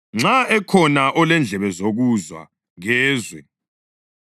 Nxa ekhona olendlebe zokuzwa kezwe.”